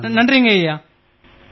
மிக்க நன்றி ஐயா